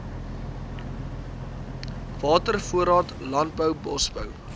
watervoorraad landbou bosbou